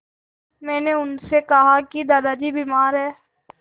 मैंने उनसे कहा कि दादाजी बीमार हैं